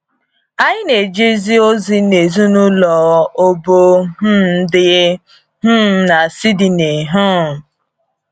Anyị na - ejezi ozi n’ezinụlọ Obo um dị um na Sydney um.